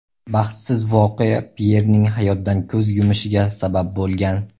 Baxtsiz voqea Pyerning hayotdan ko‘z yumushiga sabab bo‘lgan.